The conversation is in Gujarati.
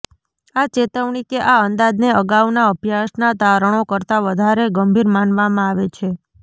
આ ચેતવણી કે આ અંદાજને અગાઉના અભ્યાસનાં તારણો કરતાં વધારે ગંભીર માનવામાં આવે છે